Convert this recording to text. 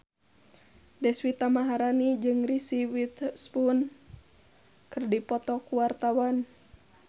Deswita Maharani jeung Reese Witherspoon keur dipoto ku wartawan